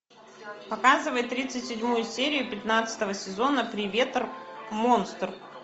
показывай тридцать седьмую серию пятнадцатого сезона привет монстр